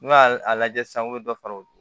N'u y'a a lajɛ sisan u be dɔ fara u